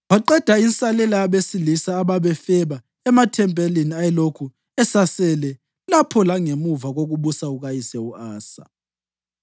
Waqeda insalela yabesilisa ababefeba emathempelini ayelokhu esasele lapho langemva kokubusa kukayise u-Asa.